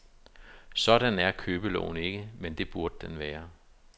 Sådan er købeloven ikke, men det burde den være.